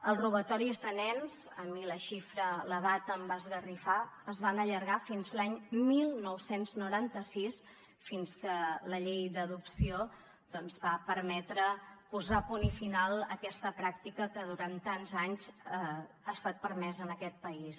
els robatoris de nens a mi la data em va esgarrifar es van allargar fins l’any dinou noranta sis fins que la llei d’adopció doncs va permetre posar punt i final a aquesta pràctica que durant tants anys ha estat permesa en aquest país